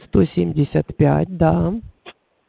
сто семьдесят пять да